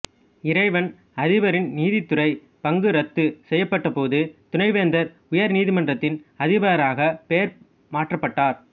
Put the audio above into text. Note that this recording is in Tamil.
இறைவன் அதிபரின் நீதித்துறை பங்கு ரத்து செய்யப்பட்டபோது துணைவேந்தர் உயர்நீதிமன்றத்தின் அதிபராக பெயர் மாற்றப்பட்டார்